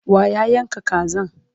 wa ya Yanka Kazan?